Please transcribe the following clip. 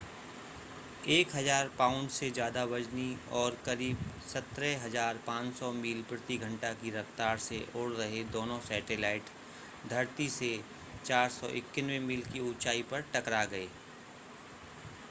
1000 pound से ज़्यादा वज़नी और करीब 17,500 मील प्रति घंटा की रफ़्तार से उड़ रहे दोनों सैटेलाइट धरती से 491 मील की ऊंचाई पर टकरा गए